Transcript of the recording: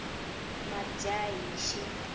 madyaxihi